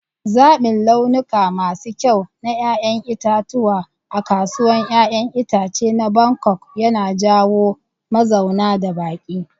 Zaɓin launuka masu kyau na 'ya'yan itatuwa a kasuwar 'ya'yan itace na Bangkok yana jawo mazauna da baƙi.